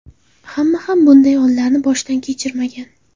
Hamma ham bunday onlarni boshdan kechirmagan.